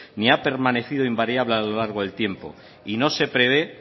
ni ha permanecido invariable a lo largo del tiempo y no se prevé